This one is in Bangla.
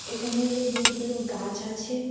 এখানে হল বহুতগুলো গাছ আছে।